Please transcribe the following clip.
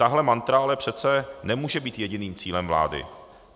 Tahle mantra ale přece nemůže být jediným cílem vlády.